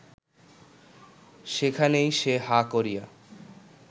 সেখানেই সে হাঁ করিয়া